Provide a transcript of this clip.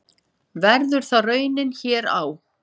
Verður það raunin hér á?